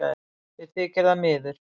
Mér þykir það miður